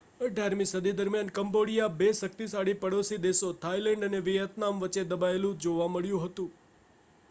18મી સદી દરમિયાન કંબોડિયા બે શક્તિશાળી પડોશી દેશો થાઇલેન્ડ અને વિયેતનામ વચ્ચે દબાયેલું જોવા મળ્યું હતું